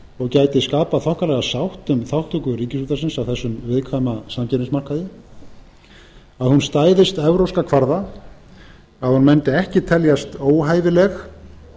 og gæti skapað þokkalega sátt um þátttöku ríkisútvarpsins á þessum viðkvæma samkeppnismarkaði að hún stæðist evrópska kvarða að hún mundi ekki teljast óhæfileg